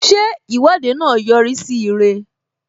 Ṣé Ìwọ́de náà yọ rí sí ire?